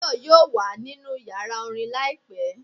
Tayo yóò wa ninú ìyára orín laípẹ